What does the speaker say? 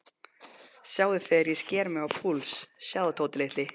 Sjáðu þegar ég sker mig á púls, sjáðu, Tóti ljóti.